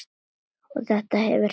Og þetta hefur sannað sig.